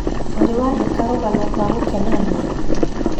ũrĩ wandĩ ka rũgano rwa gũkenania?